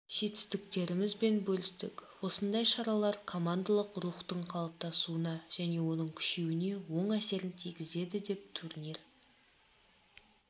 жетістіктерімізбен бөлістік осындай шаралар командалық рухтың қалыптасуына және оның күшеюіне оң әсерін тигізеді деп турнир